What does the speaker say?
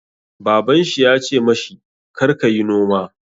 Baban shi ya ce ma shi 'Kar ka yi noma'!